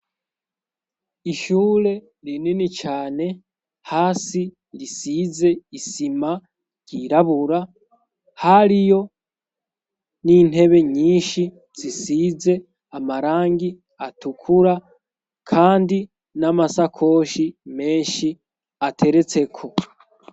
Ishure rinini cane hasi risize isima ryirabura hariyo n'intebe nyinshi zisize amarangi atukura kandi n'amasakoshi menshi ateretseko.